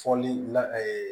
Fɔli la